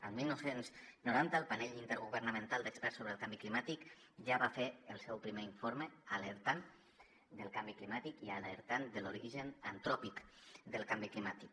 el dinou noranta el grup intergovernamental d’experts sobre el canvi climàtic ja va fer el seu primer informe en què alertava del canvi climàtic i de l’origen antròpic del canvi climàtic